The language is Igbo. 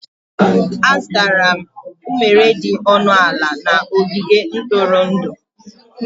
Azụtara m unere dị ọnụ ala na ogige ntụrụndụ.